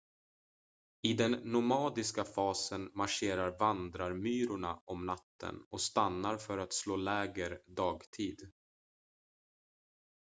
i den nomadiska fasen marscherar vandrarmyrorna om natten och stannar för att slå läger dagtid